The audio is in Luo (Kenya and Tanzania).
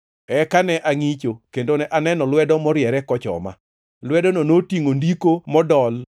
Eka ne angʼicho, kendo ne aneno lwedo morie kochoma. Lwedono notingʼo ndiko modol,